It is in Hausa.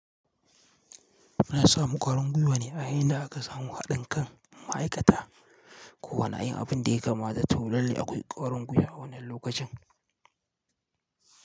Muna samun kwarin gwiwa ne a yayin da aka samu haɗin kan ma'aikata ko ana yin abin da ya kamata. To lalle akwai kwarin gwiwa a wannan lokacin.